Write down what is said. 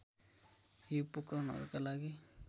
यी उपकरणहरूका लागि